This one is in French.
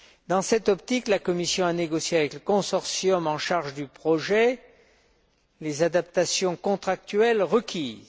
Dans cette optique, la Commission a négocié avec le consortium en charge du projet les adaptations contractuelles requises.